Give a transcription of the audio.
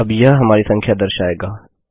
अब यह हमारी संख्या दर्शाएगा